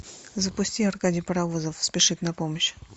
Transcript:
запусти аркадий паровозов спешит на помощь